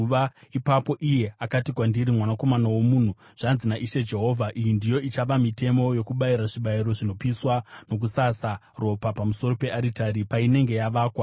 Ipapo iye akati kwandiri, “Mwanakomana womunhu, zvanzi naIshe Jehovha: Iyi ndiyo ichava mitemo yokubayira zvibayiro zvinopiswa nokusasa ropa pamusoro pearitari painenge yavakwa: